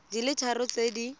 di le tharo tse di